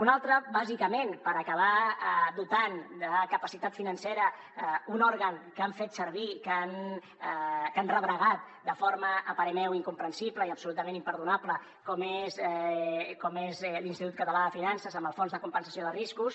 una altra bàsicament per acabar dotant de capacitat financera un òrgan que han fet servir que han rebregat de forma a parer meu incomprensible i absolutament imperdonable com és l’institut català de finances amb el fons de compensació de riscos